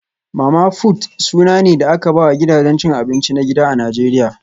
Mama-fut suna ne da aka ba wa gidajen cin abinci na gida a Najeriya